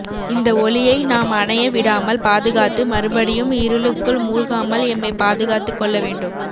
இந்த ஒளியை நாம் அணைய விடாமல் பாதுகாத்து மறுபடியும் இருளுக்குள் மூழ்காமல் எம்மைப் பாதுகாத்துக் கொள்ள வேண்டும்